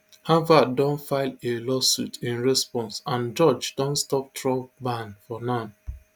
harvard don file a lawsuit in response and judge don stop trump ban for now